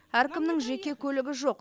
әркімнің жеке көлігі жоқ